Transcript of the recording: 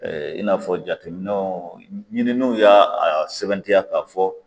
i n'a fɔ jateminɛnw ɲininiw ya a sɛbɛntiya ka fɔ